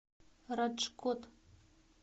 раджкот